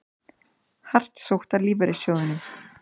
Hart sótt að lífeyrissjóðunum